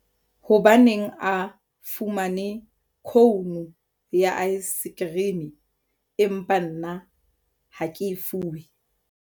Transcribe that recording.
hobaneng a fumane khounu ya aesekherime empa nna ha ke e fuwe?